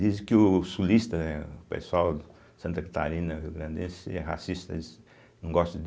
Dizem que o sulista, né, o pessoal de Santa Catarina, Rio Grande, eles são racistas, eles não gostam de